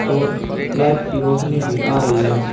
और लाइट की रोशनी भी आ रही है।